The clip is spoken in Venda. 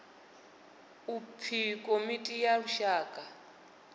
u pfi komiti ya lushaka